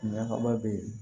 Ɲagaba be yen